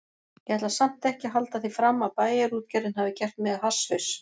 Ég ætla samt ekki að halda því fram að Bæjarútgerðin hafi gert mig að hasshaus.